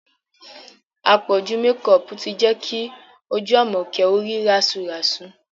Àpọ̀jù mekọọ̀pù ti jẹ́ kí ojú Àmọ̀kẹ́ ó rí rásuràsu